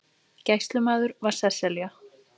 Gæslumaður var Sesselja